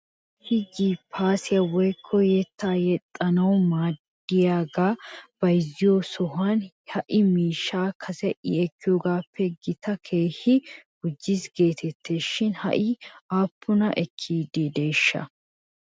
Issi jiippaasiyaa woykko yettaa yexxanaw maaddiyaagaa bayzziyoo sohuwan he miishshay kase i ekkiyoogaappe gatee keehi gujjis geettes shin ha'i aappunaa ekkideeshsha?